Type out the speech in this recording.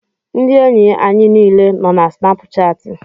Ndị enyi anyị niile nọ na Snapuchati.